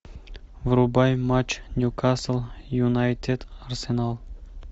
врубай матч ньюкасл юнайтед арсенал